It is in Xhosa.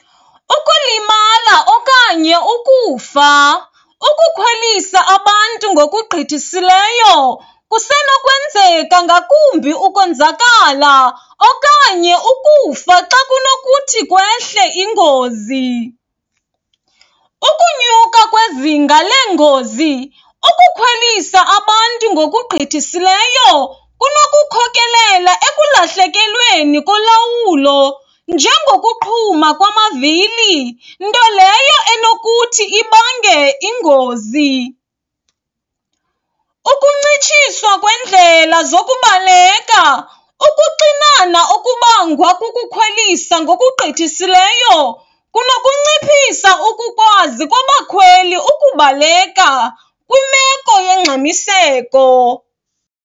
Ukulimala okanye ukufa, ukukhwelisa abantu ngokugqithisileyo kusenokwenzeka ngakumbi ukonzakala okanye ukufa xa kunokuthi kwehle ingozi. Ukunyuka kwezinga leengozi, ukukhwelisa abantu ngokugqithisileyo kunokukhokelela ekulahlekelweni kolawulo njengokuqhuma kwamavili, nto leyo enokuthi ibange ingozi. Ukuncitshiswa kweendlela zokubaleka, ukuxinana okubangwa kukukhwelisa ngokugqithisileyo kunokunciphisa ukukwazi kwabakhweli ukubaleka kwimeko yongxamiseko.